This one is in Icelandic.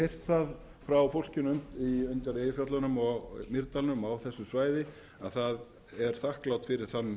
heyrt það á fólkinu undir eyjafjöllunum og mýrdalnum á þessu svæði að það er þakklátt fyrir